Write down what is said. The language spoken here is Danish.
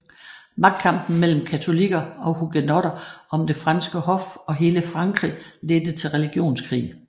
Magtkampen mellem katolikker og hugenotter om det franske hof og hele Frankrig ledte til religionskrig